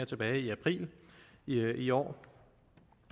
tilbage i april i i år